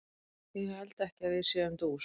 Ég held ekki að við séum dús.